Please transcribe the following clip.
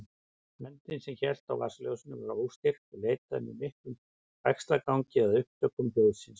Höndin sem hélt á vasaljósinu var óstyrk og leitaði með miklum bægslagangi að upptökum hljóðsins.